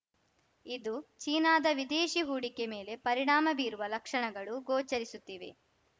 ಇದು ಚೀನಾದ ವಿದೇಶಿ ಹೂಡಿಕೆ ಮೇಲೆ ಪರಿಣಾಮ ಬೀರುವ ಲಕ್ಷಣಗಳು ಗೋಚರಿಸುತ್ತಿವೆ